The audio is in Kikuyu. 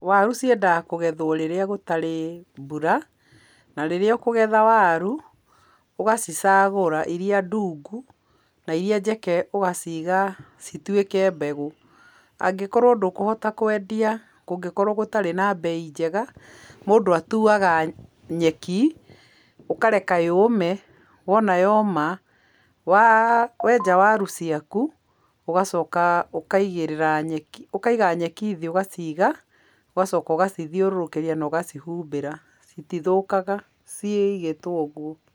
Waru ciendaga kũgethwo rĩrĩa gũtarĩ mbura, na rĩrĩa ũkũgetha waru, ũgacicagũra irĩa ndungu na irĩa njeke ũgaciga cituĩke mbegũ, angĩkorwo ndũkũhota kwendia, kũngĩkorwo gũtarĩ na mbei njega, mũndũ atuaga nyeki, ũkareka yũme, wona yoma, wenja waru ciaku, ũgacoka ũkaigĩrĩra nyeki, ũkaiga nyeki thĩ ũgaciga, ũgacoka ũgacithiũrũrũkĩria na ũgacihumbĩra, citithũkaga cigĩtwo ũguo.